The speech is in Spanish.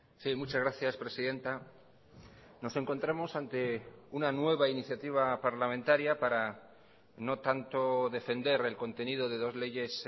sí muchas gracias presidenta nos encontramos ante una nueva iniciativa parlamentaria para no tanto defender el contenido de dos leyes